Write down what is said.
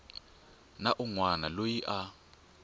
na un wana loyi a